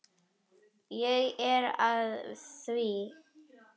Ég er að því.